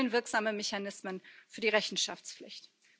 Es fehlen wirksame Mechanismen für die Rechenschaftspflicht.